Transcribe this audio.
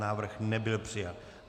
Návrh nebyl přijat.